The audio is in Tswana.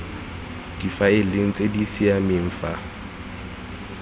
difaeleng tse di siameng fa